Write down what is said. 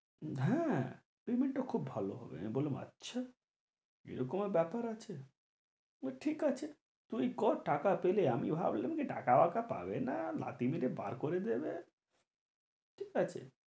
হ্যাঁ payment খুব ভালো হবে, আমি বললাম আচ্ছা এরকমও ব্যাপার আছে but ঠিক আছে, তুই কর টাকা পেলে আমি ভাবলাম যে টাকা বাকা পাবে না লাথি মেরে বার করে দেবে ঠিক আছে